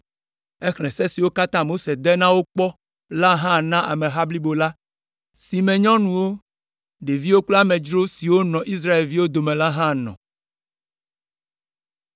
Exlẽ se siwo katã Mose de na wo kpɔ la hã na ameha blibo la, si me nyɔnuwo, ɖeviwo kple amedzro siwo nɔ Israelviwo dome la hã nɔ.